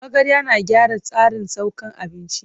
Magarya na gyara tsarin saukan abinci.